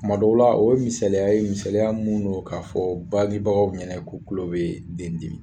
kuma dɔw la o ye misaliya ye misaliya mun do k'a fɔ badibagaw ɲɛnɛ ko kulo be den dimi